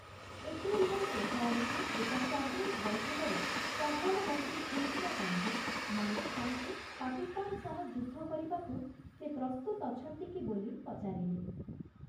ଏପ୍ରିଲ୍‌ର ଶେଷଆଡ଼କୁ ଏକ କ୍ୟାବିନେଟ୍‌ ବୈଠକରେ ପ୍ରଧାନମନ୍ତ୍ରୀ ଇନ୍ଦିରା ଗାନ୍ଧୀ, ମାନେକ୍‌ଶା'ଙ୍କୁ ପାକିସ୍ତାନ ସହ ଯୁଦ୍ଧ କରିବାକୁ 'ସେ ପ୍ରସ୍ତୁତ ଅଛନ୍ତି କି' ବୋଲି ପଚାରିଲେ ।